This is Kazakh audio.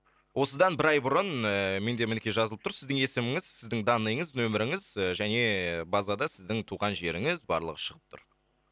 осыдан бір ай бұрын ыыы менде мінекей жазылып тұр сіздің есіміңіз сіздің данныйыңыз нөміріңіз және базада сіздің туған жеріңіз барлығы шығып тұр